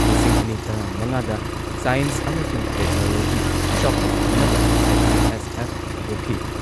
ꯂꯤꯁꯤꯡ ꯑꯅꯤ ꯇꯔꯥꯃꯉꯥꯗ ꯁꯥꯢꯟꯁ ꯑꯃꯁꯨꯡ ꯇꯦꯛꯅꯣꯂꯣꯖꯤ ꯆꯥꯎꯈꯠꯍꯟꯅꯕ ꯑꯥꯏ.ꯑꯥꯏ.ꯑꯦꯁ.ꯑꯦꯐ ꯍꯧꯗꯣꯛꯈꯤ꯫